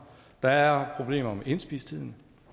der er problemer med indspistheden